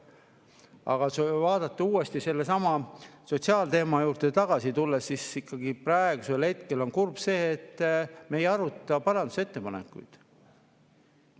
Aga kui uuesti sellesama sotsiaalteema juurde tagasi tulla, siis kurb on see, et me ei aruta parandusettepanekuid.